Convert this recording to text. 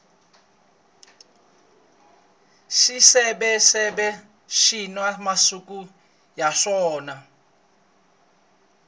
swiseveseve swina masiku ya swona